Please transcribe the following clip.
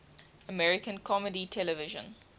american comedy television